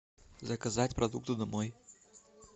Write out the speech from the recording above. заказать продукты домой